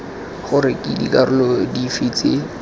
gore ke dikarolo dife tse